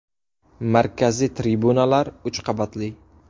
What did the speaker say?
Markaziy tribunalar uch qavatli.